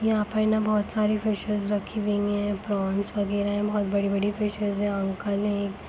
यहाँ पे न बहुत सारी फ़िशेस रखी हुई हैं प्रौंस वागेरा बहुत बड़ी बड़ी फिश हैं अंकल हैं एक--